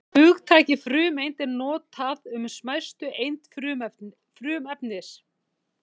Hugtakið frumeind er notað um smæstu eind frumefnis.